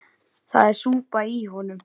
Það er súpa í honum.